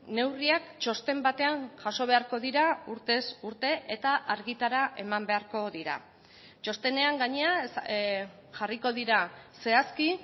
neurriak txosten batean jaso beharko dira urtez urte eta argitara eman beharko dira txostenean gainera jarriko dira zehazki